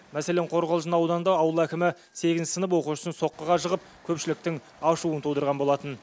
мәселен қорғалжын ауданында ауыл әкімі сегізінші сынып оқушысын соққыға жығып көпшіліктің ашуын тудырған болатын